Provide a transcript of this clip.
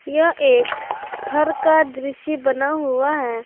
यह एक घर का दृश्य बना हुआ है।